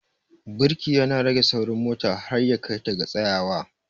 Birki ya na rage saurin mota har ya kai ta ga tsayawa.